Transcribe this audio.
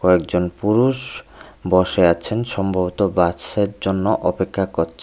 একজন পুরুষ বসে আছেন সম্ভবত বাস্সার জন্য অপেক্ষা করছেন।